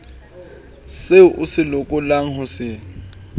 seo o lokelang ho se